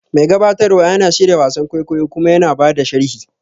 Mai gabatarwa yana shirya wasan kwaikwayo kuma yana ba da sharhi.